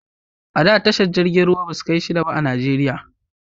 A da tashar jiragen ruwa ba su kai shida ba a Najeriya